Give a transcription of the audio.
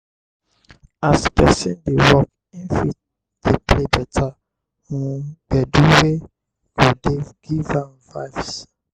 as person dey work im fit dey play better um gbedu wey go dey give am vibes